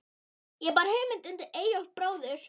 Ég bar hugmynd undir Eyjólf bróður.